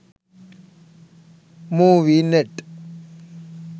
movie net